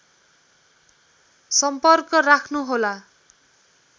सम्पर्क राख्नुहोला